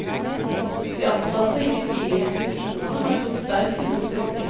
De ansatte i de fire institusjonene har gått sterkt imot flytting.